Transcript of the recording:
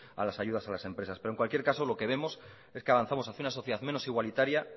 a las ayudas a las empresas pero en cualquier caso lo que vemos es que avanzamos hacía una sociedad menos igualitaria